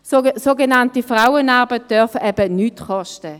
Sogenannte Frauenarbeit darf eben nichts kosten.